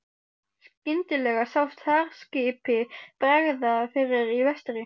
Skyndilega sást herskipi bregða fyrir í vestri.